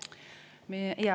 Aitäh!